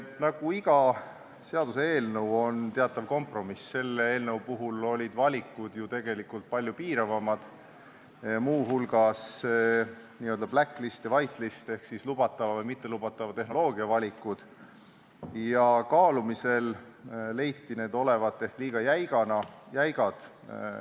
Nagu iga seaduseelnõu on teatav kompromiss, olid ka selle eelnõu puhul valikud tegelikult palju piiravamad, mh n-ö blacklist ja whitelist ehk lubatava või mittelubatava tehnoloogia valikud, ja kaalumisel leiti need olevat liiga jäigad.